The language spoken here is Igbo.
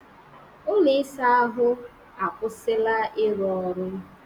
Ụlọ ịsa ahụ akwụsịla ịrụ ọrụ